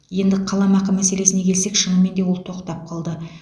енді қаламақы мәселесіне келсек шынымен де ол тоқтап қалды